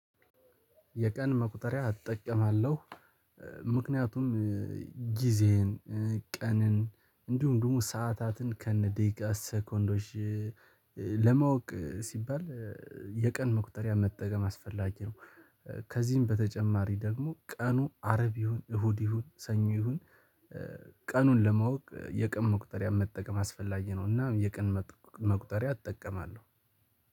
የቀን መቁጠሪያ እጠቀማለሁ። ምክንያቱም ጊዜን ቀንን እንዲሁ ደግሞ ሰዓታትን ከነ ደቂቃ ሰኮንዶች ለማወቅ ሲባል የቀን መቁጠሪያ መጠቀም አስፈላጊ ነው። ከዚህም በተጨማሪ ደግሞ ቀኑ አረብ ይሁን እሁድ ይሁን ሰኞ ይሁን ቀኑን ለማወቅ የቀን መቁጠሪያ መጠቀም አስፈላጊ ነውና የቀን መቁጠሪያ እጠቀማለሁ።